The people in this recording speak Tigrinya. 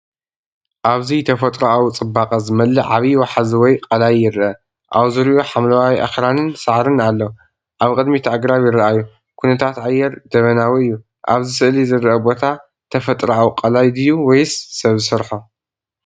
ኣብዚ ብተፈጥሮኣዊ ጽባቐ ዝመልአ ዓቢይ ወሓዚ ወይ ቀላይ ይርአ። ኣብ ዙርያኡ ሓምላይ ኣኽራንን ሳዕርን ኣሎ። ኣብ ቅድሚት ኣግራብ ይረኣዩ፣ ኩነታት ኣየር ደበናዊ እዩ። ኣብዚ ስእሊ ዝርአ ቦታ ተፈጥሮኣዊ ቀላይ ድዩ ወይስ ሰብ ዝሰርሖ?